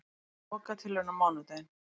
Lokatilraun á mánudaginn